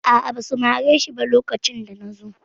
A'a, ba su mare shi ba lokacin da na zo.